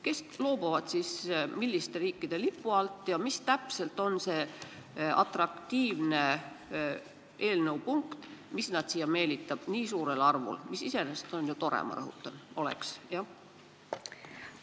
Kes siis loobuvad teiste riikide lipust ja milline täpselt on see atraktiivne eelnõu punkt, mis neid siia nii suurel arvul meelitab, mis, ma rõhutan, oleks iseenesest ju tore?